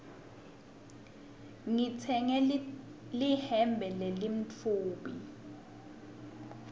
ngitsenge lihembe lelimtfubi